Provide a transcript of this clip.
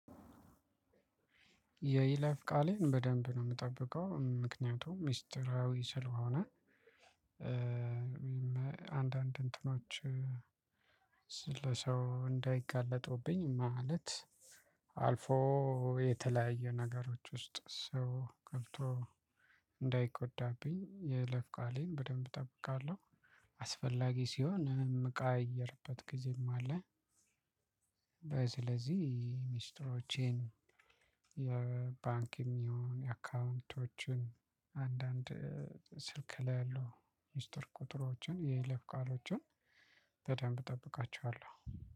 የይለፍ ቃሌን በደንብ ነው እምጠብቀው ምክንያቱም ሚስጥራዊ ስለሆነ። እ አንዳንድ እንትኖችን ለሰው እንዳይጋለጡብኝ ማለት አልፎ የተለያየ ነገሮች ውስጥ ሰው ገብቶ እንዳይጎዳብኝ የይለፍ ቃሌን በደንብ እጠብቃለሁ። አስፈላጊ ሲሆን እምቀያይርበት ጊዜም አለ። ስለዚህ ሚስጥሮቼን የባንክ የሚሆን የአካውንቶችን አንዳንድ ስልክ ላይ ያለው ሚስጥር ቁጥሮችን የለፍ ቃሎችን በደንብ እጠብቃችኋለሁ።